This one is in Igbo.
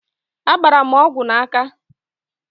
Agbara m ọgwụ n'aka